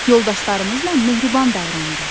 Yoldaşlarımızla mehriban davranırıq.